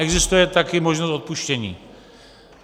Existuje také možnost odpuštění.